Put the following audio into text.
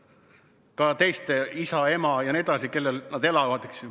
Armastus on ka teiste vastu, isa, ema jne vastu, kellel nad veel elavad.